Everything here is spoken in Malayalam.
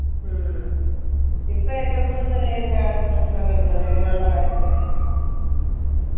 ഉം ഇപ്പൊ ഏറ്റവും കൂടുതൽ ഏതിനാണ് പ്രശ്നം വരുന്നത് അങ്ങനുള്ള കാര്യത്തിന്